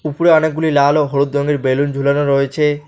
উপরে অনেকগুলি লাল ও হলুদ রঙের বেলুন ঝুলানো রয়েছে।